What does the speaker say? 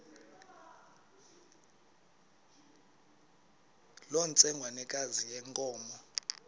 loo ntsengwanekazi yenkomo